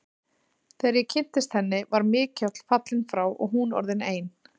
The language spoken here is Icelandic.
Þegar ég kynntist henni, var Mikjáll fallinn frá og hún orðin ein.